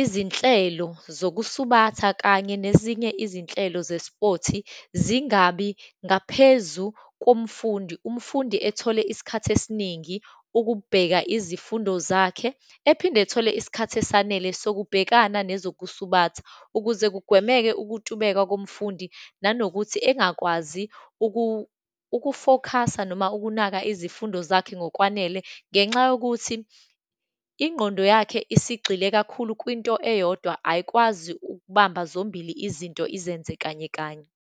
izinhlelo zokusubatha kanye nezinye izinhlelo ze-sport-i, zingabi ngaphezu komfundi. Umfundi ethole isikhathi esiningi ukubheka izifundo zakhe, ephinde ethole isikhathi esanele sokubhekana nezokusubatha ukuze kugwemeke ukutubeka komfundi, nanokuthi engakwazi uku-focus-a noma ukunaka izifundo zakhe ngokwanele. Ngenxa yokuthi ingqondo yakhe isigxile kakhulu kwinto eyodwa, ayikwazi ukubamba zombili izinto, izenze, kanye kanye.